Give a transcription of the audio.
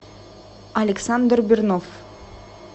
александр бернов